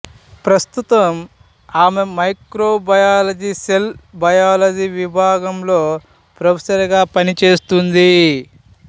ప్రస్తుతం ఆమె microbiology cell biology విభాగంలో ప్రొఫెసర్ గా పనిచేస్తుంది